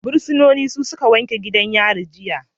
Fursunoni su suka wanke duka gidan yari jiya